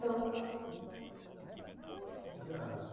Não. Já...